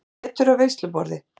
Étur af veisluborði.